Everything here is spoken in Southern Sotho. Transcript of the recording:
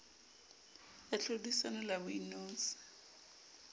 ya tlhodisano le ya boinotshi